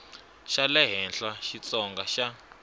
xa le henhla xitsonga xa